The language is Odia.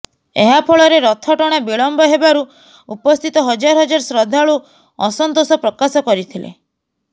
ଏହା ଫଳରେ ରଥ ଟଣା ବିଳମ୍ବ ହେବାରୁ ଉପସ୍ଥିତ ହଜାର ହଜାର ଶ୍ରଦ୍ଧାଳୁ ଅସନ୍ତୋଷ ପ୍ରକାଶ କରିଥିଲେ